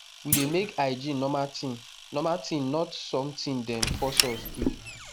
we dey make hygiene normal thing normal thing not something dem force us do